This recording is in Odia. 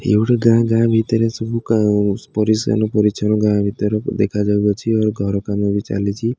ଇଏ ଗୋଟେ ଗାଁ ଗାଁ ଭିତରେ ସବୁ ପରିଷ୍କାର ପରିଚ୍ଛନ୍ନ ଗାଁ ଭିତରକୁ ଦେଖା ଯାଉ ଅଛି ଓ ଘର କାମ ବି ଚାଲିଛି।